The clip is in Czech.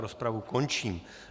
Rozpravu končím.